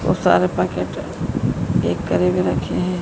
बहोत सारे पैकेट एक करे में रखे हैं।